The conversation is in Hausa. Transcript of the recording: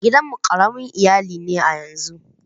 Gidan mu ƙaramin iyali ne a yanzun.